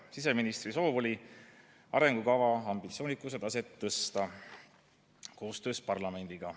Siseministri soov oli arengukava ambitsioonikuse taset tõsta koostöös parlamendiga.